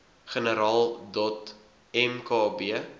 generaal dot mkb